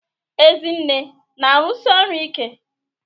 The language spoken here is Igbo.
Ezinne na-arụsi ọrụ ike?